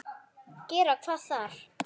Gera hvað þar?